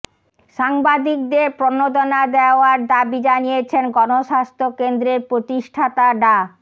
সাংবাদিকদের প্রণোদনা দেওয়ার দাবি জানিয়েছেন গণস্বাস্থ্য কেন্দ্রের প্রতিষ্ঠাতা ডা